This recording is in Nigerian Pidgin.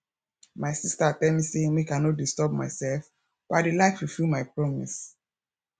my sister tell me say make i no disturb myself but i dey like fulfill my promise